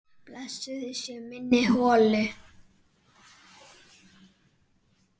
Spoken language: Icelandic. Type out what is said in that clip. Blessuð sé minning Hollu.